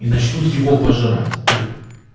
и начнут его пожирать труп